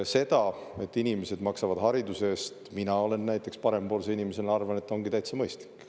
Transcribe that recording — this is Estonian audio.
See, et inimesed maksavad hariduse eest, mina parempoolse inimesena arvan, ongi täitsa mõistlik.